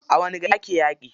A wani gari ake yaƙi?